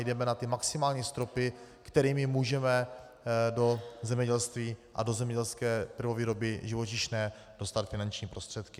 Jdeme na ty maximální stropy, kterými můžeme do zemědělství a do zemědělské prvovýroby živočišné dostat finanční prostředky.